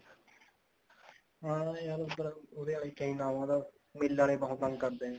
ਹਾਂ ਯਰ ਉਹਦੇ ਲਈ ਚਾਹੀਦਾ ਹੁੰਦਾ ਮਿੱਲ ਆਲੇ ਬਹੁਤ ਤੰਗ ਕਰਦੇ ਨੇ